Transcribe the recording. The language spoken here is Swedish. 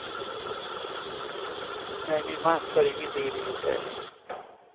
Nej, min man tar ingen del i det här.